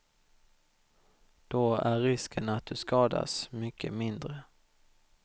Då är risken att du skadas mycket mindre.